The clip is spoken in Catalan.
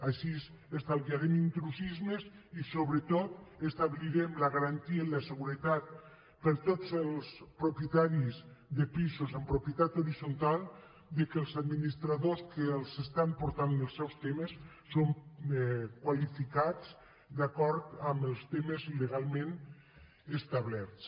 així estalvia rem intrusismes i sobretot establirem la garantia i la seguretat per a tots els propietaris de pisos en propietat horitzontal que els administradors que els estan portant els seus temes són qualificats d’acord amb els termes legalment establerts